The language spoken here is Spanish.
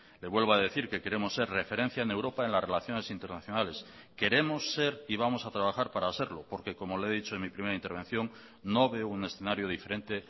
le vuelvo a decir que queremos ser referencia en europa en las relaciones internacionales queremos ser y vamos a trabajar para serlo porque como le he dicho en mi primera intervención no veo un escenario diferente